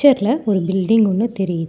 பிச்சர்ல ஒரு பில்டிங் ஒன்னு தெரி --